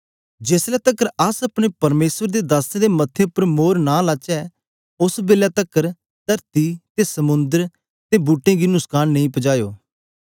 जेस ले तकर अस अपने परमेसर दे दासें दे मथे उपर मोर नां लाचै ओस बेलै तकर तरती ते समुंद्र ते बूट्टें गी नुस्कान नेई पजायो